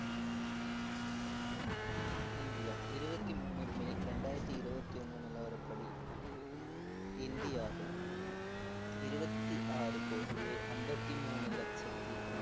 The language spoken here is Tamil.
இந்தியா இருபத்தி மூணு மே இரண்டாயிரத்தி இருவத்தி ஒண்ணு நிலவரப்படி இந்தியாவில் இருவத்தி ஆறு கோடியே ஐம்பத்தி மூணு லட்சத்தி